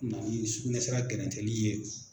mɛ se ka kɛrɛntɛ ni ye yen.